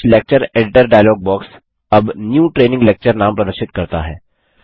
क्टच lecture editor dialog box अब new training lecture नाम प्रदर्शित करता है